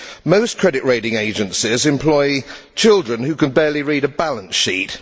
Most credit rating agencies employ children who can barely read a balance sheet.